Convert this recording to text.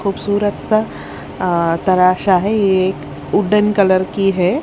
खूब सूरत तरासा है ये एक वुडेन कलर की है।